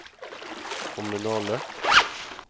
kommunale